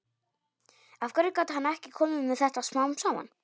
Af hverju gat hann ekki komið með þetta smám saman?